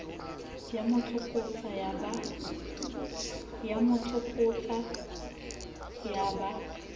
ya mo tsokotsa ya ba